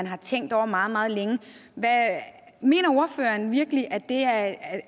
har tænkt over meget meget længe mener ordføreren virkelig